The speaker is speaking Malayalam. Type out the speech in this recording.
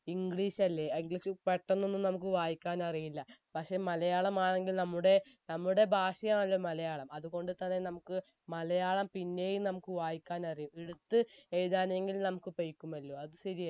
english അല്ലെ അഹ് english പെട്ടെന്നൊന്നും നമുക്ക് വായിക്കാൻ അറിയില്ല പക്ഷെ മലയാളം ആണെങ്കിൽ നമ്മുടെ നമ്മുടെ ഭാഷയാണല്ലോ മലയാളം അതുകൊണ്ട് തന്നെ നമുക്ക് മലയാളം പിന്നെയും നമുക്ക് വായിക്കാനറിയും എടുത്ത് എഴുത്താണെങ്കിൽ നമുക്ക് പൈക്കും അല്ലോ അത് ശരിയല്ലേ